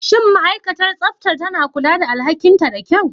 Shin ma'aikatar tsaftar tana kula da alhakinta da kyau?